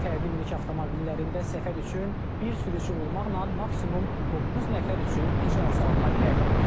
Fərdi minik avtomobillərində səfər üçün bir sürücü olmaqla maksimum doqquz nəfər üçün icazə alına bilər.